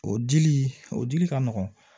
O dili o dili ka nɔgɔn